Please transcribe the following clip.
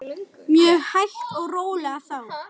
Mjög hægt og rólega þó.